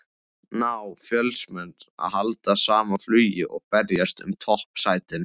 Ná Fjölnismenn að halda sama flugi og berjast um toppsætin?